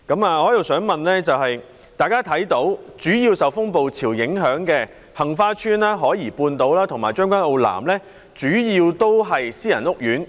我的補充質詢是，大家看到主要受風暴潮影響的杏花邨、海怡半島和將軍澳南，主要都是私人屋苑。